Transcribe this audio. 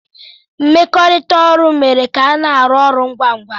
Mmekọrịta mere ka ana arụ ọrụ ngwa ngwa.